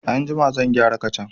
Anjima zan gyara kacan.